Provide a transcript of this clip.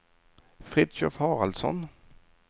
Fritiof Haraldsson